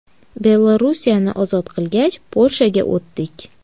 Belorussiyani ozod qilgach, Polshaga o‘tdik.